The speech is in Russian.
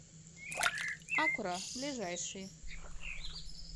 акура ближайший